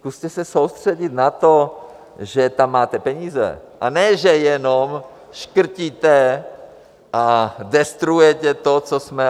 Zkuste se soustředit na to, že tam máte peníze, a ne že jenom škrtíte a destruujete to, co jsme...